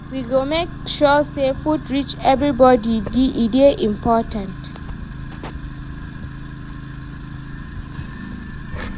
We go make sure sey food reach everybodi, e dey important.